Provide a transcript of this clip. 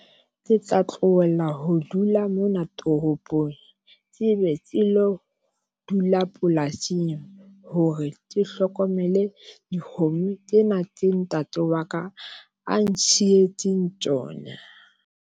Ke tla tlohella ho dula mona toropong tsebe ke lo dula polasing hore ke hlokomele dikgomo tsena tse ntate wa ka a ntshitseng tsona.